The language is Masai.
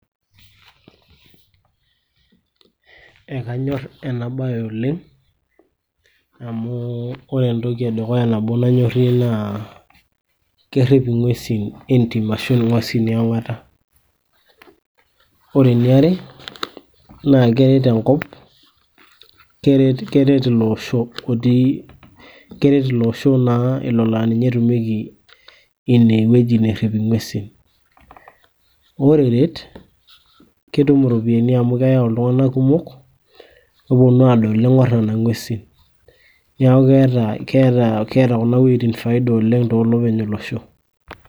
ekanyor ena bae oleng amu ore entoki nabo nanyorie naa kerip ingwesi endim, ore eniare naa keret ilo osho otii, olo naa ninye etumweki ine weji nerip ingwesin, ore eret naa ketum iropiyiani amu keyau iropiyiani amu keyau iltung'anak kumok , kepuonu aadol ning'or nena ngwesin, neeku keeta kunawejitin faida oleng tooilepeny olosho.